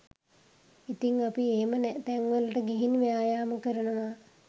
ඉතිං අපි එහෙම තැන්වලට ගිහින් ව්‍යායාම කරනවා